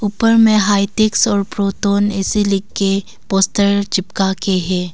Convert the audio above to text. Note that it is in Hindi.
ऊपर में हाईटेक एसे लिखके पोस्टर चिपका के है।